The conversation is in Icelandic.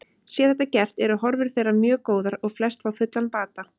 Sé þetta gert eru horfur þeirra mjög góðar og flest fá fullan bata.